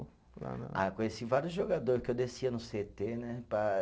Ah, conheci vários jogador que eu descia no cê tê, né? Para